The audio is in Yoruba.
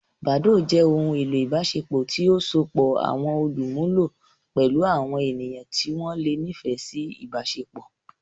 Badoo jẹ ohun elo ibaṣepọ ti o sopọ awọn olumulo pẹlu awọn eniyan ti wọn le nifẹ si ibaṣepọ.